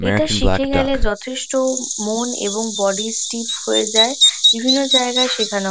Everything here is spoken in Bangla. এটা শিখে গেলে যথেষ্ট মন এবং বডি স্টিফ হয়ে যায় বিভিন্ন জায়গায় শেখানো--